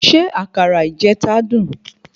Ṣé àkàrà ìjeta dun?